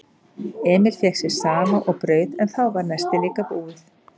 Emil fékk sér safa og brauð en þá var nestið líka búið.